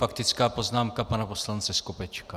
Faktická poznámka pana poslance Skopečka.